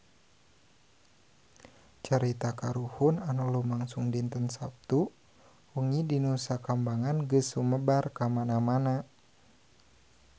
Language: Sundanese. Carita kahuruan anu lumangsung dinten Saptu wengi di Nusa Kambangan geus sumebar kamana-mana